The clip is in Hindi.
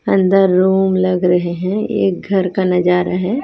अंदर रूम लग रहे हैं एक घर का नजारा है।